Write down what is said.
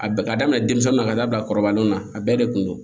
A bɛ ka daminɛ denmisɛnnin na ka da bila kɔrɔbalenw na a bɛɛ de kun don